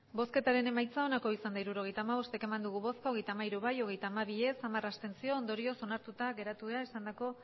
hirurogeita hamabost eman dugu bozka hogeita hamairu bai hogeita hamabi ez hamar abstentzio ondorioz onartuta geratu da esandako